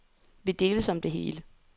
Vi deles om det hele.